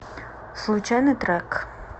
случайный трек